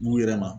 N'u yɛrɛ ma